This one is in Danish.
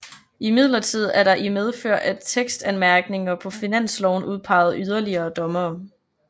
Imidlertid er der i medfør af tekstanmærkninger på finansloven udpeget yderligere dommere